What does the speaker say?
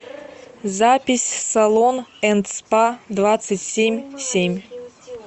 запись салон энд спа двадцать семь семь